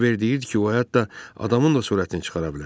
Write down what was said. Qiver deyirdi ki, o hətta adamın da sürətini çıxara bilər.